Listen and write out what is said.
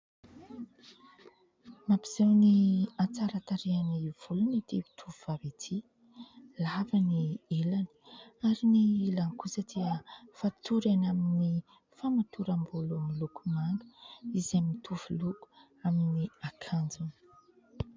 Mampiseho ny hatsaran-tarehan'ny volony ity tovovavy ity ; lava ny ilany ary ny ilany kosa dia fatorany amin'ny famatoram-bolo miloko manga izay mitovy loko amin'ny akanjony.